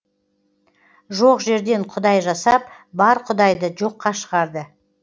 жоқ жерден құдай жасап бар құдайды жоққа шығарды